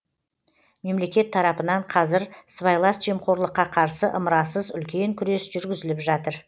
мемлекет тарапынан қазір сыбайлас жемқорлыққа қарсы ымырасыз үлкен күрес жүргізіліп жатыр